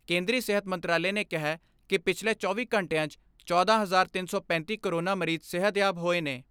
ਕੇਂਦਰੀ ਸਿਹਤ ਮੰਤਰਾਲੇ ਨੇ ਕਿਹੈ ਕਿ ਪਿਛਲੇ ਚੌਵੀ ਘੰਟਿਆਂ 'ਚ ਚੌਦਾਂ ਹਜ਼ਾਰ ਤਿੰਨ ਸੌ ਪੈਂਤੀ ਕੋਰੋਨਾ ਮਰੀਜ਼ ਸਿਹਤਯਾਬ ਹੋਏ ਨੇ।